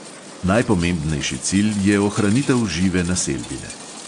Najpomembnejši cilj je ohranitev žive naselbine.